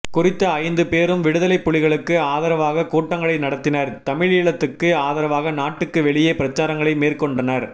குறித்த ஐந்து பேரும் விடுதலைப் புலிகளுக்கு ஆதரவாக கூட்டங்களை நடத்தினர் தமிழீழத்துக்கு ஆதரவாக நாட்டுக்கு வெளியே பிரசாரங்களை மேற்கொண்டனர்